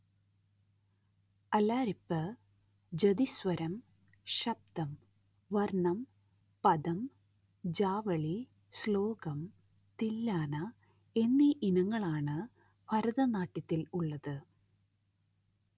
അലാരിപ്പ് ജതിസ്വരം ശബ്ദം വർണം പദം ജാവളി ശ്ലോകം തില്ലാന എന്നീ ഇനങ്ങളാണ് ഭരതനാട്യത്തിൽ ഉള്ളത്